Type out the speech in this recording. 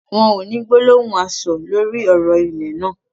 Wọn ò ní gbólóhùn aṣọ̀ lórí ọ̀rọ̀ ilẹ̀ náà